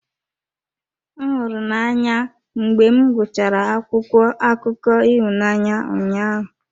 M hụrụ n'anya mgbe m gụchara akwụkwọ akụkọ ịhụnanya ụnyahụ.